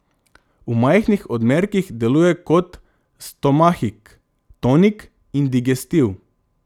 V majhnih odmerkih deluje kot stomahik, tonik in digestiv.